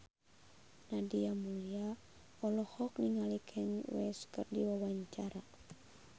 Nadia Mulya olohok ningali Kanye West keur diwawancara